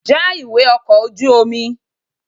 Já ìwé ọkọ̀ ojú omi!